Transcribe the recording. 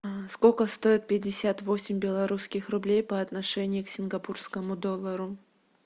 сколько стоит пятьдесят восемь белорусских рублей по отношению к сингапурскому доллару